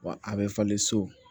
Wa a bɛ falen so